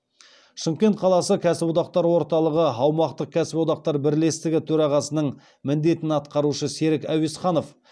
шымкент қаласы кәсіподақтар орталығы аумақтық кәсіподақтар бірлестігі төрағасының міндетін атқарушы серік әуесханов